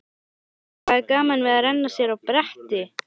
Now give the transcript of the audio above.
Lillý: Hvað er gaman við að renna sér á bretti?